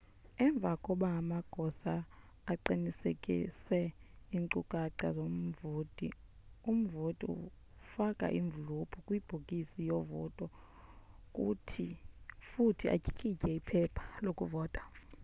emva koba amagosa eqinisekise iincukaca zomvoti umvoti ufake imvlophu kwibhokisi yovota futhi atyikitye iphepha lokuvota